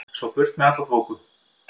Svo burt með alla þoku.